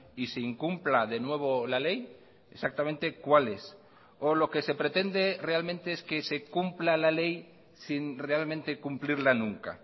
y se incumpla de nuevo la ley exactamente cuáles o lo que se pretende realmente es que se cumpla la ley sin realmente cumplirla nunca